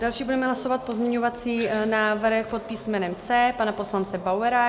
Další budeme hlasovat pozměňovací návrh pod písmenem C pana poslance Bauera.